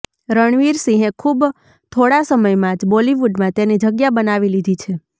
રણવીર સિંહે ખુબ થોડા સમયમાં જ બોલિવૂડમાં તેની જગ્યા બનાવી લીધી છે